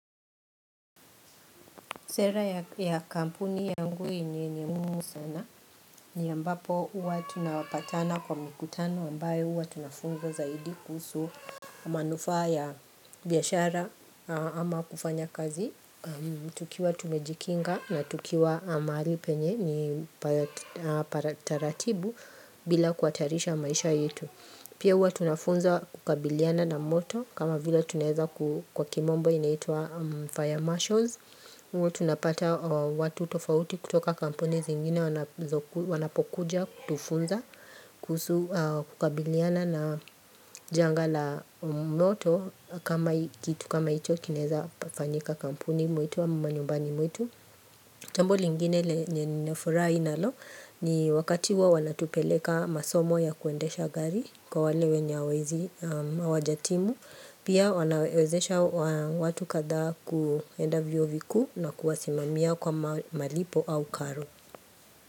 Sera ya kampuni yangu ni mungu sana ni ambapo uwa tunapatana kwa mikutano ambayo uwa tunafungo zaidi kuhusu manufa ya biashara ama kufanya kazi tukiwa tumejikinga na tukiwa amari penye ni para taratibu bila kuatarisha maisha yetu. Pia uwa tunafunza kukabiliana na moto kama vila tuneza kwa kimombo inaitua fire marshals. Tunapata watu tofauti kutoka kampuni zingine wanapokuja kutufunza kukabiliana na janga la moto kama kitu kama ito kineza fanyika kampuni mwitu wa manyumbani mwitu. Jambo lingine lenye nimefurahi nalo ni wakatiwa wanatupeleka masomo ya kuendesha gari kwa walewe nyawazi wajatimu. Pia wanawezesha watu katha kuenda viu na kuwasimamia kwa malipo au karo.